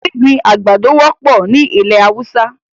Gbigbin agbádọ̀ wọpọ̀ ni ilẹ̀ Hausa.